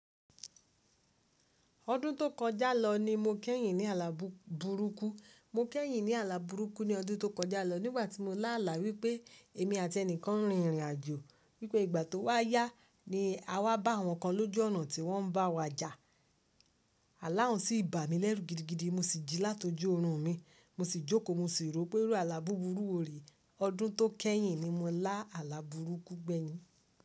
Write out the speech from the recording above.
Ọdún tó kọjá lọ ni mo kẹ́yìn ní àlà burúkú. Mo k'ẹ́yìn ní àlà burúkú ní ọdún tó kọjá lọ, nígbàtí mo ní àlà wípé èmi àti ẹnìkan ń rín ìrìn àjò, wípé ìgbà tí ó wà yá ní àwa bá àwọn kan ní ojú ọ̀nà tí wọ́n bá wa já. Àláùnsí bà mí lẹ́rù gidigidi mo sì jí látọjú ọrùn mi, mo sì jóko mo sì rò ó pé irú àlà búburú wo rè? Ọdún tó kẹ́yìn ni mo lá àlà burúkú gbẹ́yìn.